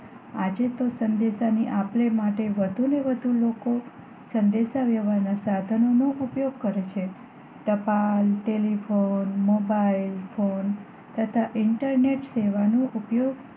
આજે તો સંદેશો ની આપલે માટે વધુ ને વધુ લોકો સંદેશા વ્યવહાર ના સાધનો નો ઉપયોગ કરે છે ટપાલ, ટેલીફોન, મોબાઈલ ફોન તથા ઈન્ટરનેટ સેવા નો ઉપયોગ